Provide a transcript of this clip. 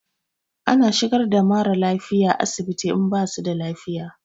Ana shigar da mara lafiya asibiti in basu da lafiya.